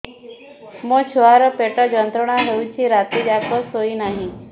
ମୋ ଛୁଆର ପେଟ ଯନ୍ତ୍ରଣା ହେଉଛି ରାତି ଯାକ ଶୋଇନାହିଁ